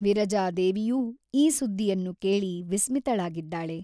ವಿರಜಾದೇವಿಯೂ ಈ ಸುದ್ದಿಯನ್ನು ಕೇಳಿ ವಿಸ್ಮಿತಳಾಗಿದ್ದಾಳೆ.